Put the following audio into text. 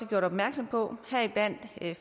gjort opmærksom på heriblandt